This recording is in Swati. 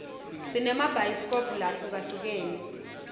sinema bhayisikobhu lahlukahlukene